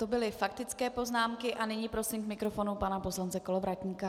To byly faktické poznámky a nyní prosím k mikrofonu pana poslance Kolovratníka.